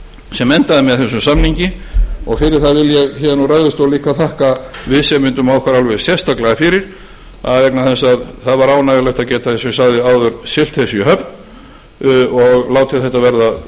sem endaði með þessum samningi og fyrir það vil ég héðan úr ræðustól þakka viðsemjendum okkar alveg sérstaklega fyrir vegna þess að það var ánægjulegt að geta eins og ég sagði áður siglt þessu í höfn og látið þetta verða að